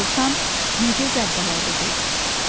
Dovşan nə gözəl baladır, dedi.